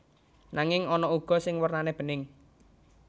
Nanging ana uga sing wernane bening